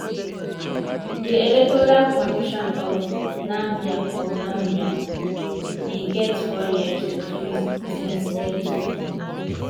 di electoral commission of namibia of namibia [ecn] bin get four years to fix tins e tok